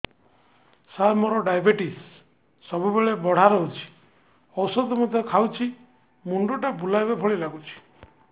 ସାର ମୋର ଡାଏବେଟିସ ସବୁବେଳ ବଢ଼ା ରହୁଛି ଔଷଧ ମଧ୍ୟ ଖାଉଛି ମୁଣ୍ଡ ଟା ବୁଲାଇବା ଭଳି ଲାଗୁଛି